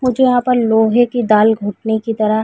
मुझे यहाँ पर लोहै की दाल घुटने की तरह--